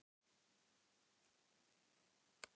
Við sjáumst þá sagði hann og stökk niður tröppurnar.